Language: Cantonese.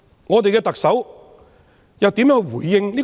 我們的特首又怎樣回應？